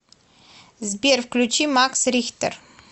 сбер включи макс рихтер